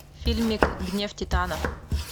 фильмик гнев титанов